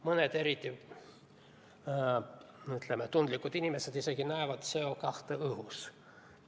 Mõned eriti tundlikud inimesed isegi näevad CO2 õhus.